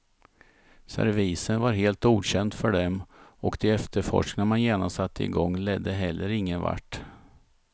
Servisen var helt okänd för dem och de efterforskningar man genast satte i gång ledde heller ingenvart.